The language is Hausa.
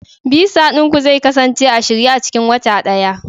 Visa ɗin ku zai kasance a shirye a cikin wata ɗaya